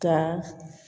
Ka